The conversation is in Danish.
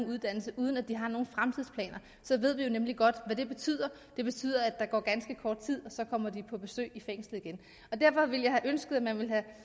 uddannelse uden at de har nogen fremtidsplaner så ved vi jo nemlig godt hvad det betyder det betyder at der går ganske kort tid og så kommer de på besøg i fængslet igen derfor ville jeg have ønsket at man ville have